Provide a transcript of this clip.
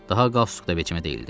Daha qalstuk da vecimə deyildi.